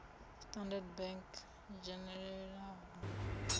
a standard bank o dzhenelelaho